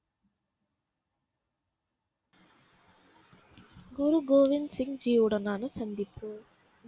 குரு கோவிந்த் சிங் ஜின் உடனான சந்திப்பு